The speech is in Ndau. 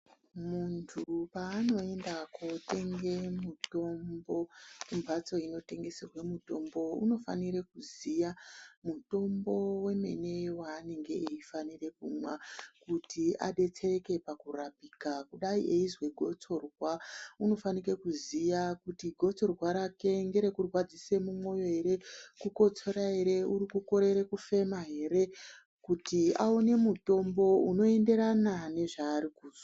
muntu paanoenda kotenge mutombo kumhatso inotengeserwe mitombo. Unofanire kuziya mutombo vemene vaanenge eifanira kumwa. Kuti abetsereke pakurapika kudai eize gotsorwa unofanika kuziya kuti gotsorwa rake ngere kurwadzise mumwoyo ere, kukotsora ere uri kukorera kufema ere. Kuti aone mutombo unoenderana nezvari kuzwa.